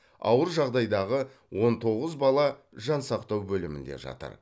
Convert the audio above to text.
ауыр жағдайдағы он тоғыз бала жансақтау бөлімінде жатыр